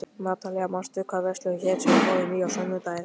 Natalía, manstu hvað verslunin hét sem við fórum í á sunnudaginn?